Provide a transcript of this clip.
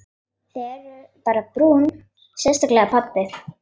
Þið eruð bara brún, sérstaklega pabbi.